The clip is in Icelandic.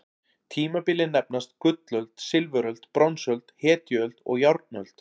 Tímabilin nefnast: gullöld, silfuröld, bronsöld, hetjuöld og járnöld.